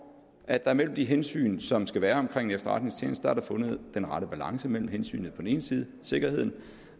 at der mellem de hensyn som skal være omkring efterretningstjenester er fundet den rette balance mellem hensynet til på den ene side sikkerhed